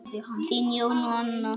Þín, Jón og Anna.